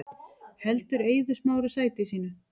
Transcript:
Heldur Eiður Smári sæti sínu